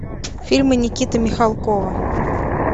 фильмы никиты михалкова